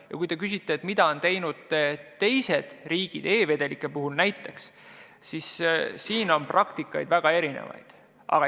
Ja kui te küsite, mida on teinud teised riigid näiteks e-vedelike puhul, siis praktikaid on väga erinevaid.